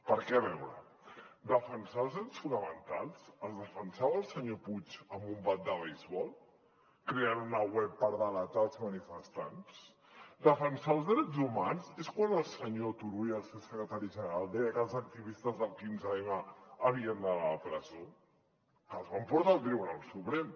perquè a veure defensar els drets fonamentals els defensava el senyor puig amb un bat de beisbol creant una web per delatar els manifestants defensar els drets humans és quan el senyor turull el seu secretari general deia que els activistes del quinze m havien d’anar a la presó que els van portar al tribunal suprem